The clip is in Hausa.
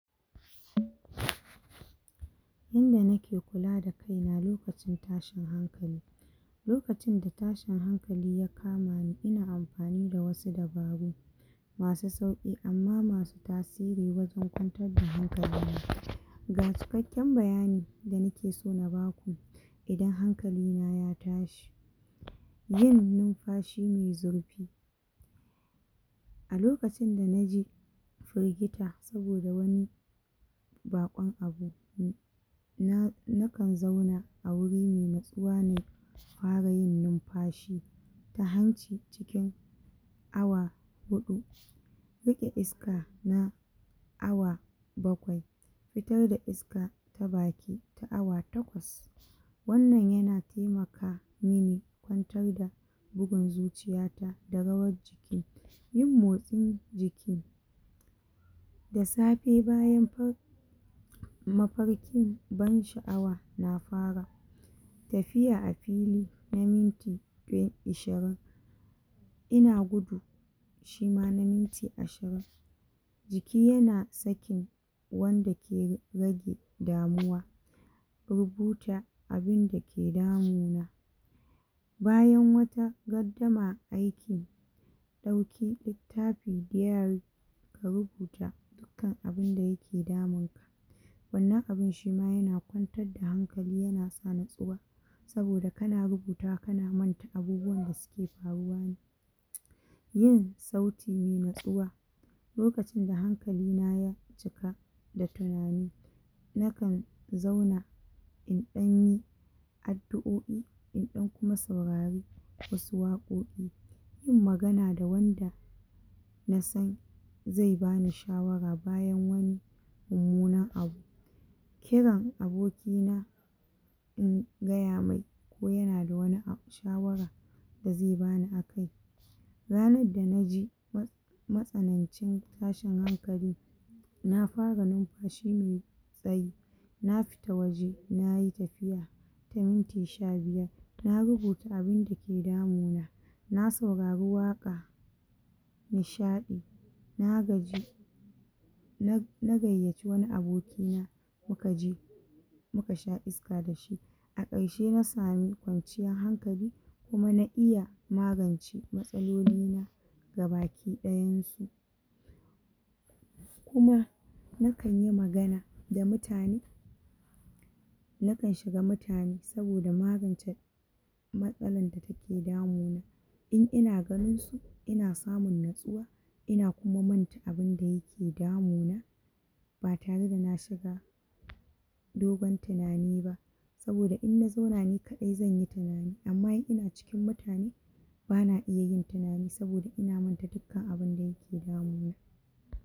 Yanda nake kula da kaina lokacin tashin hankali lokacin da tashin hankali ya kama ni ina amfani da wasu dabaru masu sauƙi amma masu tasiri wajen kwantar da hankali na ga cikakken bayani da na ke so na baku idan hankali na ya tashi yin numfashi mai zurfi a lokacin da naje firgita saboda wani baƙon abu na na kan zauna a wuri mai natsuwa ne in fara yin numfashi ta hanci cikin awa huɗu rage iska na awa bakwai fitar da iska ta baki ta awa takwas wannan yana taimaka mini kwantar da bugun zuciya ta da rawar jiki yin motsin jiki da safe bayan far mafarkin ban sha'awa na fara tafiya a fili na minti ashirin ina gudu shi ma na minti ashirin jiki yana sakin wanda ke rage damuwa rubuta abinda ke damuna bayan wata gardama aiki ɗauki littafi dairy ka rubuta kan abinda yake damun ka wannan abin shi ma yana kwantar da hankali yana sa natsuwa saboda kana rubutawa kana manta abubuwan da suke faruwa ne yin sauti mai natsuwa lokacin da hankali na ya cika da tunani na kan zauna in ɗan yi addu'oi in ɗan kuma saurari wasu waƙoƙi yin magana da wanda na san zai bani shawara bayan wani mummunan abu kiran aboki na in gaya mai ko yana da wani shawara da zai bani akai ranar da naji matsanancin tashin hankali na fara numfashi mai tsayi na fita waje nayi tafiya ta minti shabiyar na rubuta abinda ke damuna na saurari waƙa nishaɗi na gaji na gayyaci wani aboki na muka je muka sha iska da shi a ƙarshe na samu kwanciyan hankali kuma na iya magance matsaloli na gabakiɗanyan su kuma na kan yi magana da mutane na kan shiga mutane saboda magance matsalan da take damuna in ina ganin su, ina samu natsuwa ina kuma manta abinda yake damuna ba tare da na shiga dogon tunani ba saboda in na zauna ni kaɗai zan yi tunani amma in ina cikin mutane bana iya yin tunani saboda ina manta dukkan abinda yake damuna.